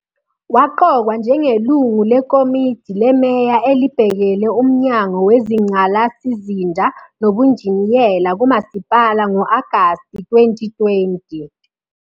Waqokwa njengelungu leKomidi leMeya elibhekele uMnyango Wezingqalasizinda Nobunjiniyela kumasipala ngo-Agasti 2020.